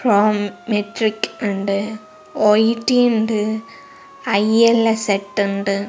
Pro മെട്രിക്ട് ഇണ്ട് O E T ഇണ്ട് I L S എട്ട് ഇണ്ട്.